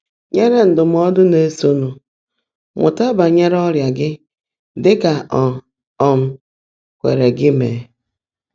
nyèèré ndụ́mọ́dụ́ ná-èsóńụ́: Mụ́tá bányèré ọ́rị́á gị́ ḍị́ kà ó um kwèèré gị́ meè.